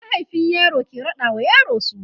mahaifin yaro ke raɗa wa yaro suna